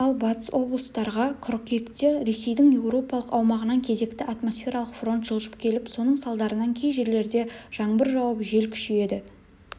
ал батыс облыстарға қыркүйекте ресейдің еуропалық аумағынан кезекті атмосфералық фронт жылжып келіп соның салдарынан кей жерлерде жаңбыр жауып жел күшейеді